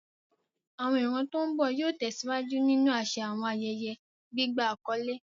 Àwọn ìran tó ń bọ̀ yóò tẹ̀síwájú nínú àṣà àwọn ayẹyẹ gbígba àkọ́lé.